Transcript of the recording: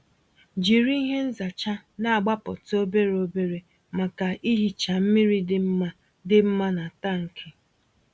Jiri ihe nzacha na-agbapụta obere obere maka ihicha mmiri dị mma dị mma na tankị.